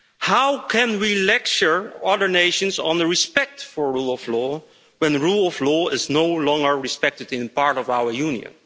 How can we lecture other nations on respect for the rule of law, when the rule of law is no longer respected in part of our Union?